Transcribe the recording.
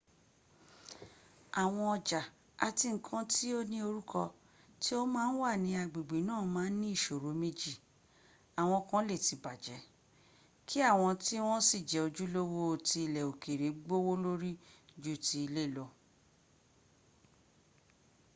awọn ọjà àti nǹkan tí o ní orúkọ tí o máa ń wà ní agbègbè náà máa ní ìṣòro méjì; àwọn kan lè ti bàjẹ́ kí àwọn tí wọn sì jẹ́ ojúlówó tí ilẹ̀ òkèrè gbówólórí ju ti ilé lọ